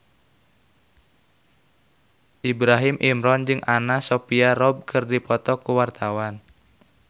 Ibrahim Imran jeung Anna Sophia Robb keur dipoto ku wartawan